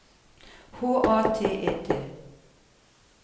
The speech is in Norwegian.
H A T E T